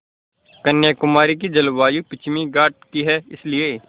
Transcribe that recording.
कन्याकुमारी की जलवायु पश्चिमी घाट की है इसलिए